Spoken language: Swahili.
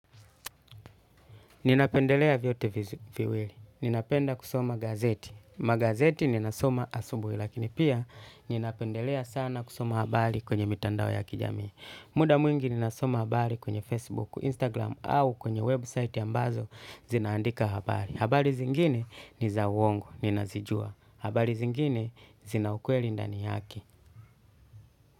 Ninapendelea vyote viwili. Ninapenda kusoma gazeti. Magazeti ninasoma asubuhi lakini pia ninapendelea sana kusoma habari kwenye mitandao ya kijami. Muda mwingi ninasoma habari kwenye Facebook, Instagram au kwenye website ambazo zinaandika habari. Habari zingine ni za uongo. Ninazijua. Habari zingine zinaukweli ndani yake.